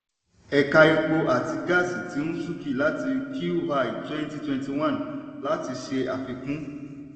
ẹ̀ka epo àti gaasí ti ń súnkì láti q one 2021 láti ṣe àfikún.